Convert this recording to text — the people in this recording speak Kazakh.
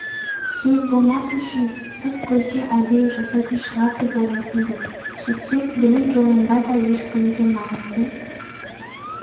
сөз болмас үшін сырт көзге әдейі жасайтын шығар деп ойлайтынбыз сөйтсек білім жолында да ешкімге намысын